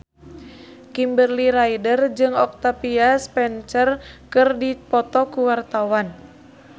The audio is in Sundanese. Kimberly Ryder jeung Octavia Spencer keur dipoto ku wartawan